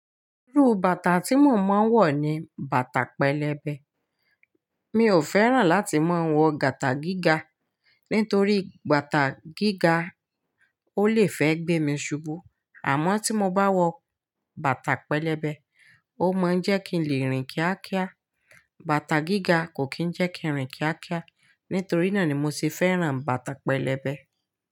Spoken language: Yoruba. Irú bàtà tí mo máa ń wọ ni bàtà pẹlẹbẹ. Mi ò fẹ́ràn láti máa ń wọ bàtà gíga nítorí bàtà gíga ó lè fẹ́ gbé mi ṣubú. Àmọ́ tí mo bá wọ bàtà pẹlẹbẹ, ó máa ń jẹ́ kí n lè rìn kíákíá. Bàtà gíga kò kí ń jẹ́ kí n rìn kíákíá. Nítorí náà ni mo ṣe fẹ́ràn bàtà pẹlẹbẹ.